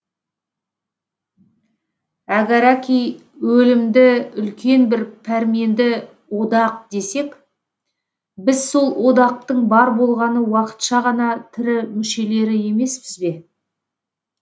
әгәрәки өлімді үлкен бір пәрменді одақ десек біз сол одақтың бар болғаны уақытша ғана тірі мүшелері емеспіз бе